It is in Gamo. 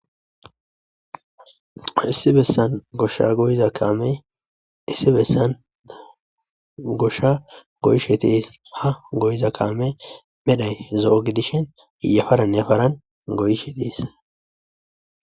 Issi bessan goshsha goyiza kaamee issi bessan gosha goyishe tiis ha goyiza kaame medhay zo'o gidishen yafaran yefaran goyishe tiis.